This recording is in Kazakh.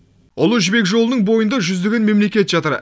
ұлы жібек жолының бойында жүздеген мемлекет жатыр